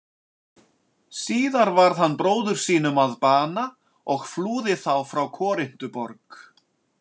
Síðar varð hann bróður sínum að bana og flúði þá frá Korintuborg.